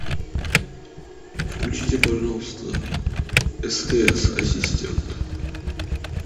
включите пожалуйста стс ассистент